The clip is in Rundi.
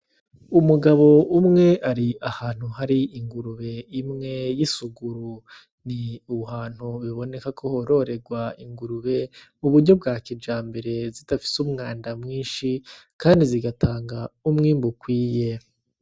Umugabo umwe ari ahantu hari ingurube imwe y'isuguru, ni ahantu biboneka ko hororerwa ingurube mu buryo bwa kijambere, zidafise umwanda mwinshi, kandi zigatanga umwimbu ukwiye.